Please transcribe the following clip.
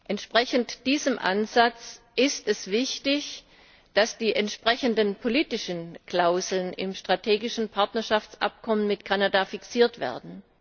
Entsprechend diesem Ansatz ist es wichtig, dass die entsprechenden politischen Klauseln im strategischen Partnerschaftsabkommen mit Kanada fixiert werden.